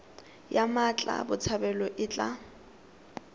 ya mmatla botshabelo e tla